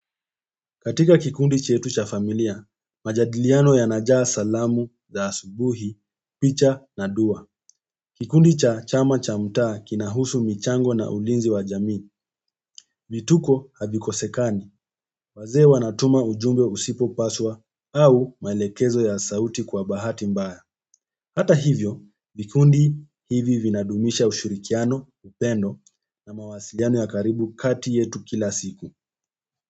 Katika kikundi chetu cha familia, majadiliano yana jaa salamu za asubuhi, picha na dua. Kikundi cha chama cha mtaa kinahusu michango na ulinzi wa jamii, vituko havikosekani, wazee wanatuma ujumbe usipo paswa au maelekezo ya sauti kwa bahati mbaya. Hta hivyo vikundi hivi vinadumisha ushirikiano, upendo na mawasiliano ya karibu kati yetu kila siku.